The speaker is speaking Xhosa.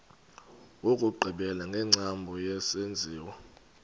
wokugqibela wengcambu yesenziwa